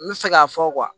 N bɛ se k'a fɔ